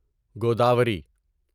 Godavari